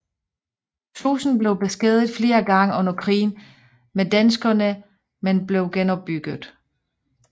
Slusen blev beskadiget flere gange under krigen med danskerne men blev genopbygget